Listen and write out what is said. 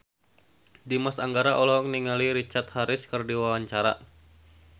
Dimas Anggara olohok ningali Richard Harris keur diwawancara